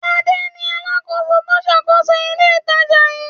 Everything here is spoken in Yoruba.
Adé ni alákòóso tó ń ṣàkóso ilé-ìtajà yìí.